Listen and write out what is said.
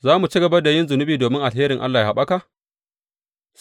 Za mu ci gaba da yin zunubi domin alheri yă haɓaka?